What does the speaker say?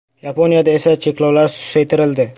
Yaponiyada esa cheklovlar susaytirildi.